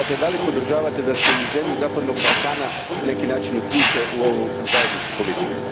Dakle, podržavate li da se i zemlje zapadnog Balkana na neki način uključe u ovu zajedničku politiku?